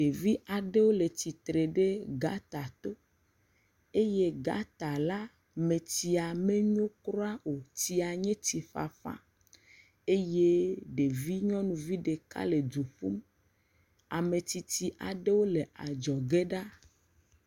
Ɖevi aɖewo le tsitre ɖe gata to eye gɔta la metsia menyo kura o. tsia nye tsiƒaƒa eye ɖevi nyɔnuvi ɖeka e du ƒum. Ame tsitsi aɖewo le adzɔge ɖa.